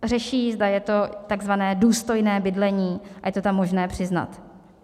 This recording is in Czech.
Řeší, zda je to tzv. důstojné bydlení a je to tam možné přiznat.